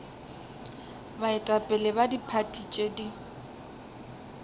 baetapele ba diphathi tše di